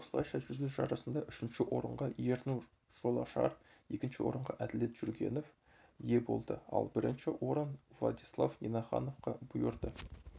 осылайша жүзу жарысында үшінші орынға ернұр жолашар екінші орынға әділет жүргенов ие болды ал бірінші орын владислав нинахановқа бұйырды